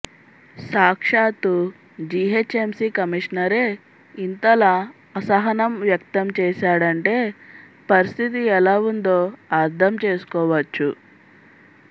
సాక్షాత్తూ GHMC కమిషనరే ఇంతలా అసహనం వ్యక్తం చేశాడంటే పరిస్థితి ఎలా ఉందో అర్థం చేసుకోవచ్చు